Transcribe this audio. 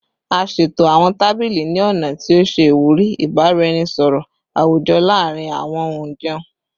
A ṣeto awọn tabili ni ọna ti o ṣe iwuri ibaraenisọrọ awujọ laarin awọn onjẹun